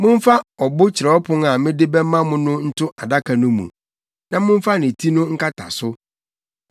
Momfa ɔbo kyerɛwpon a mede bɛma mo no nto adaka no mu, na momfa ne ti no nkata so.